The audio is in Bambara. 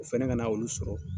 O fɛnɛ ka na olu sɔrɔ